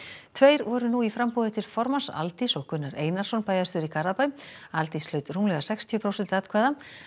tveir voru nú í framboði til formanns Aldís og Gunnar Einarsson bæjarstjóri í Garðabæ Aldís hlaut rúmlega sextíu prósent atkvæða